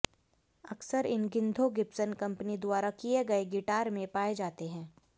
अक्सर इन गिद्धों गिब्सन कंपनी द्वारा किए गए गिटार में पाए जाते हैं